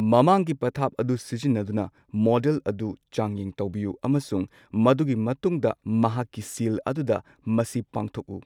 ꯃꯍꯥꯛꯀꯤ ꯄꯊꯥꯞ ꯑꯗꯨ ꯁꯤꯖꯤꯟꯅꯗꯨꯅ ꯃꯣꯗꯦꯜ ꯑꯗꯨ ꯆꯥꯡꯌꯦꯡ ꯇꯧꯕꯤꯎ ꯑꯃꯁꯨꯡ ꯃꯗꯨꯒꯤ ꯃꯇꯨꯡꯗ ꯅꯍꯥꯛꯀꯤ ꯁꯤꯜ ꯑꯗꯨꯗ ꯃꯁꯤ ꯄꯥꯡꯊꯣꯛꯎ꯫